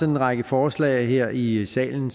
en række forslag her i salen